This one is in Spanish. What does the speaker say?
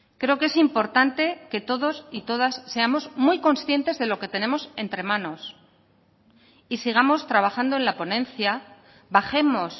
creo que es importante que todos y todas seamos muy conscientes de lo que tenemos entre manos y sigamos trabajando en la ponencia bajemos